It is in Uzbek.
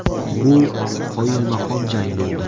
Bu qoyilmaqom jang bo‘ldi.